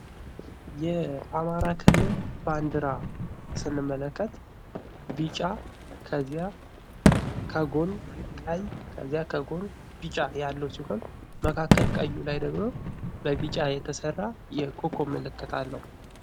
የአማራ ክልል ባንድራ ስንመለከት ቢጫ ከዚያ ከጎን ቀይ ከዚያ ከጎን ቢጫ ያለው ሲሆን መካከል ቀዩ ላይ ደግሞ በቢጫ የተሰራ የኮከብ ምልክት አለው።